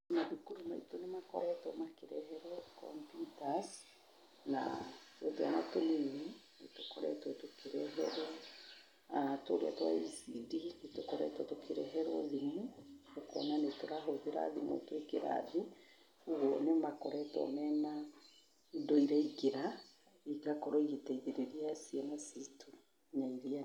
Mathukuru maitũ nĩ makoretwo makĩreherwo computers na twana tũnini nĩ tũkoretwo tũkĩreherwo, tũrĩa twa ECD, nĩ tũkoretwo tũkĩreherwo thimũ, ũkona nĩ tũrahũthĩra thimũ twĩ kĩrathi. Kwoguo nĩ makoretwo mena indo iraingĩra igakorwo igĩteithĩrĩria ciana citũ na iria-